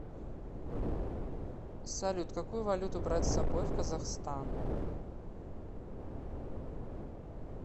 салют какую валюту брать с собой в казахстан